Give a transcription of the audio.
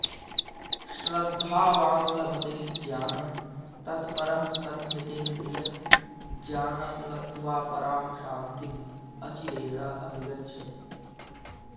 श्रद्धावान् लभते ज्ञानं तत्परः संयतेन्द्रियः ज्ञानं लब्ध्वा परां शान्तिम् अचिरेण अधिगच्छति